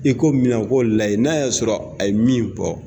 ko min na u ko lajɛ n'a y'a sɔrɔ a ye min fɔ